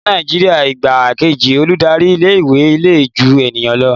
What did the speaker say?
Ní Nàìjíríà igbá kejí olùdarí ilé ìwé le ju ẹnikan lọ.